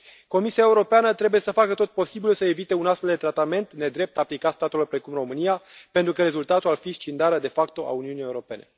Comisia Europeană trebuie să facă tot posibilul să evite un astfel de tratament nedrept aplicat statelor precum România, pentru că rezultatul ar fi scindarea de facto a Uniunii Europene.